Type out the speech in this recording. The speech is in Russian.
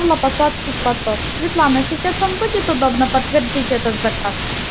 ну на посадский платок светлана сейчас вам будет удобно подтвердить этот заказ